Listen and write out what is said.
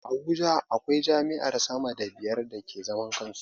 A Abuja akwai jami'ar sama da biyar da ke zaman kansu